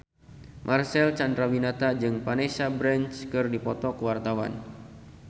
Marcel Chandrawinata jeung Vanessa Branch keur dipoto ku wartawan